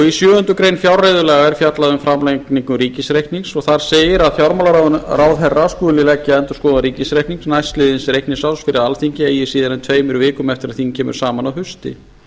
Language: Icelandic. í sjöundu greinar fjárreiðulaga er fjallað um framlagningu ríkisreiknings og þar segir þar segir að fjármálaráðherra skuli leggja endurskoðaðan ríkisreikning næstliðins reikningsárs fyrir alþingi eigi síðar en tveimur vikum eftir að þing kemur saman að hausti